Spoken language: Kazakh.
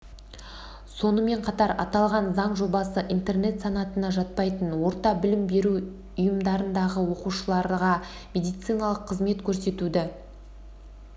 сонымен қатар аталған заң жобасы интернат санатына жатпайтын орта білім беру ұйымдарындағы оқушыларға медициналық қызмет көрсетуді